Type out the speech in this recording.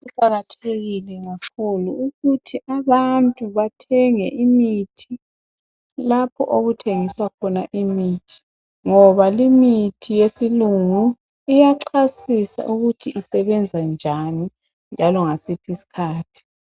kuqhakathekile kakhulu ukuthi bantu bathenge imithi lapho okuthengiswa khona imithi ngoba limithi iyachasisa ukuthi isebenza njani njalo ngasiphi isikhathi